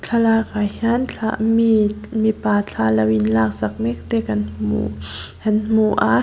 thlalak ah hian mi mipa thla lo inlak sak mek te kan hmu kan hmu a.